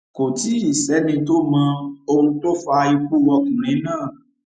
kò tí ì sẹni tó mọ ohun tó fa ikú ọkùnrin náà